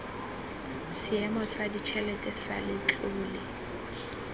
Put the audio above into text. seemo sa ditšhelete sa letlole